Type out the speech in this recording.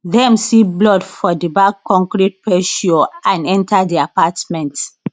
dem see blood for di back concrete patio and enter di apartment